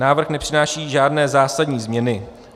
Návrh nepřináší žádné zásadní změny.